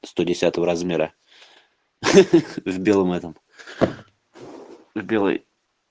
сто десятого размера ахах с белым это с белой